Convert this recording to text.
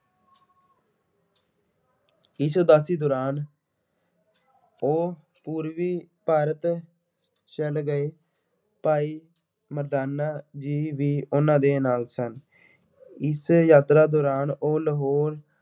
ਇਸ ਉਦਾਸੀ ਦੌਰਾਨ ਉਹ ਪੂਰਬੀ ਭਾਰਤ ਚਲੇ ਗਏ। ਭਾਈ ਮਰਦਾਨਾ ਜੀ ਵੀ ਉਹਨਾ ਦੇ ਨਾਲ ਸਨ। ਇਸ ਯਾਤਰਾ ਦੌਰਾਨ ਉਹ ਲਾਹੌਰ